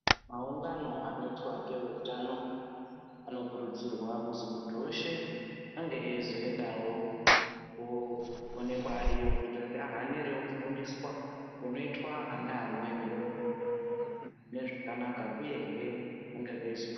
Maungano anoitwa ngeveutano anokurudzirwa kuzwi muntu weshe ange eizoendawo koonekwawo ariyo kuti ahanirewo kufundiswa kunoitwa ana amweni nezvekanaka uyehe vange veizo.